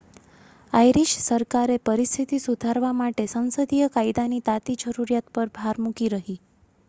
Irish સરકારે પરિસ્થિતિ સુધારવા માટે સંસદીય કાયદાની તાતી જરૂરિયાત પર ભાર મૂકી રહી